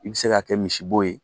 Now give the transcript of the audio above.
I bɛ se k'a kɛ misibo ye